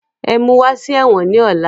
Ẹ̀mú wá sí ẹ̀wọ̀n ni ọ̀la!